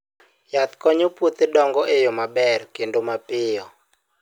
Yath konyo puothe dongo e yo maber kendo mapiyo.